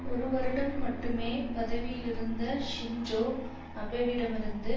ஒரு வருடம் மட்டுமே பதவியிலிருந்த ஷின்ஜொ அபெவிடமிருந்து